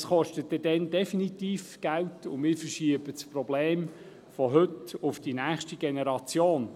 Dies kostet dann definitiv Geld, und wir verschieben das Problem von heute auf die nächste Generation.